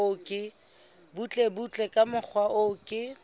butlebutle ka mokgwa o ke